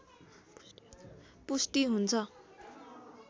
पुष्टि हुन्छ